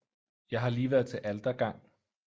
Jeg har lige været til Altergang